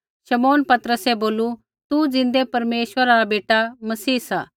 शमौन पतरसै बोलू तू ज़िन्दै परमेश्वरा रा बेटा मसीह सा